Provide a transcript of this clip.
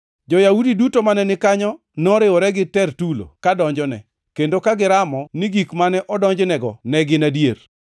Jo-Yahudi duto mane ni kanyo noriwore gi Tertulo ka donjone, kendo ka giramo ni gik mane odonjnego ne gin adier.